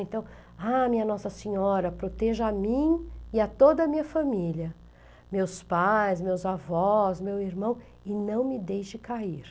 Então, ah, minha Nossa Senhora, proteja a mim e a toda a minha família, meus pais, meus avós, meu irmão, e não me deixe cair.